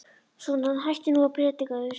Svona, hættu nú að predika yfir stelpunni.